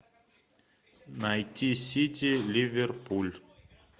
найти сити ливерпуль